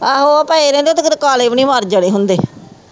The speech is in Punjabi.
ਆਹੋ ਉਹ ਪਏ ਰਹਿੰਦੇ ਉਹ ਤਾ ਕਿਤੇ ਕਾਲੇ ਵੀ ਨਹੀਂ ਮਰਜਾਣੇ ਹੁੰਦੇ।